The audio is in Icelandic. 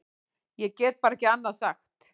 Ég get bara ekki annað sagt.